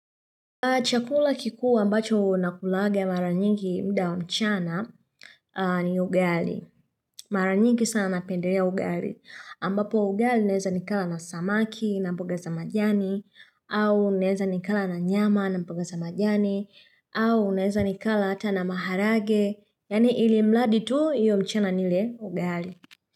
Chakula kikuu ambacho nakulaga mara nyingi muda mchana ni ugali. Mara nyingi sana napendelea ugali. Ambapo ugali naeza nikala na samaki na mboga za majani. Au neza nikala na nyama na mpugaza majani. Au naeza nikala ata na maharage. Yani ili mladi tu hiyo mchana nile ugali.